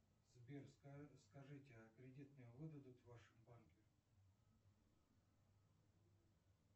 сбер скажите а кредит мне выдадут в вашем банке